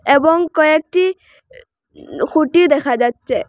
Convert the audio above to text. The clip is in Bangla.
এবং কয়েকটি উম-খুঁটি দেখা যাচ্ছে।